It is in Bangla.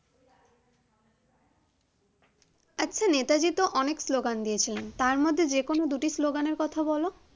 আচ্ছা নেতাজি তো অনেক স্লোগান দিয়েছিলেন তার মধ্যে দুইটি স্লোগানের কথা বলো